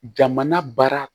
Jamana baara